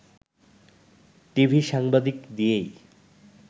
TV সাংবাদিক দিয়েই